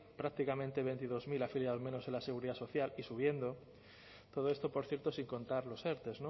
prácticamente veintidós mil afiliados menos en la seguridad social y subiendo todo esto por cierto sin contar los erte